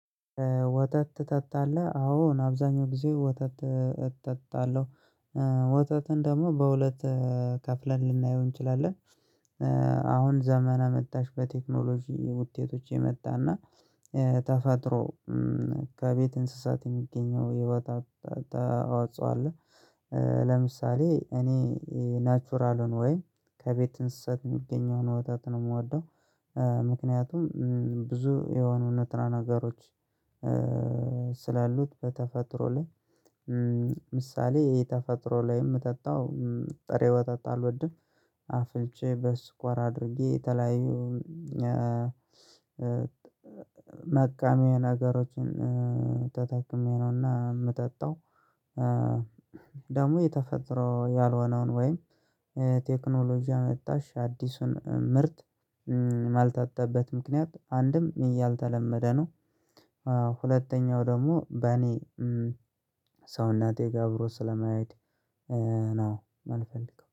ወተት ትጠጣለህ አዎ አብዛኛው ጊዜ ወተት እትጠጣለህ ወተትን ደግሞ በሁለት ከፍለን ልናየው እንችላለን። አሁን ዘመና መጥታሽ በቴክኖሎጂ ውጤቶች የመጣና ተፈጥሮ ከቤት እንስሳት የሚገኘው የወተት ታዋጽኦ ታዋጽዋለህ። ለምሳሌ እኔ ናቹራልን ወይ ከቤት እንስሳት የሚገኘውን ወተት ነው የምወደው። ምክንያቱም ብዙ የሆኑ እውነትና ነገሮች ስላሉት በተፈጥሮ ላይ። ምሳሌ የተፈጥሮ ላይም ምጠጣው ጥሬ ወተት አልወድም። አፍልቼ በስኳር አድርጌ የተለያዩ መቀመያ ነገሮችን ተጠቅሜ ነውና የምጠጣው። ደግሞ የተፈጠረው ያልሆነውን ወይም ቴክኖሎጂ አመጣሽ አዲሱን ምርት ማልጠጣበት ምክንያት አንድም እያልተለመደ ነው። ሁለተኛው ደግሞ በእኔ ሰውነቴ ጋር አብሮ ስለማይሄድ ነው የምንፈልገው